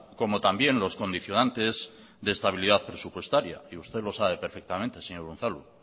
como también los condicionantes de estabilidad presupuestaria y usted lo sabe perfectamente señor unzalu